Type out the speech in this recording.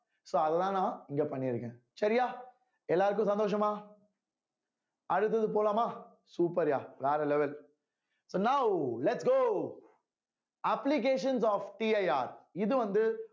so அதுதான் நான் இங்க பண்ணிருக்கேன் சரியா எல்லாருக்கும் சந்தோஷமா அடுத்தது போலாமா super யா வேற level so now lets go applications ofCIR இது வந்து